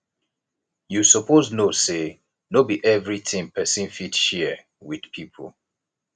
you suppose know sey no be everytin pesin fit share wit pipo